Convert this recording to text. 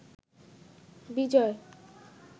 বিজয়